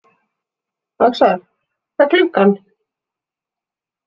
Öxar, hvað er klukkan?